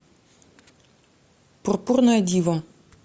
пурпурная дива